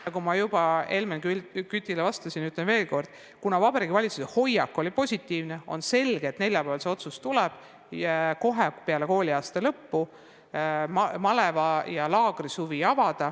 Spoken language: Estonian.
Nagu ma juba Helmen Kütile vastates ütlesin, kordan veel kord, et Vabariigi Valitsuse hoiak on olnud positiivne ja neljapäeval küllap tuleb otsus avada maleva- ja laagrisuvi kohe peale kooliaasta lõppu.